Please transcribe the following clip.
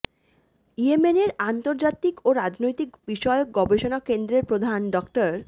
ইয়েমেনের আন্তর্জাতিক ও রাজনৈতিক বিষয়ক গবেষণা কেন্দ্রের প্রধান ড